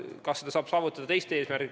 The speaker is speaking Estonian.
Kas seda saaks saavutada teiste meetoditega?